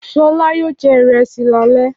Ṣọlá yóò jẹ ìrẹsì lálẹ́.